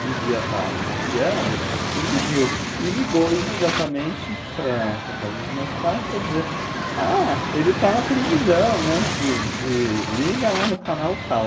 devia estar zapeando, e me viu e ligou imediatamente para a casa dos meus pais para para dizer, ''ah, ele está na televisão, né, de de de, liga lá no canal tal''.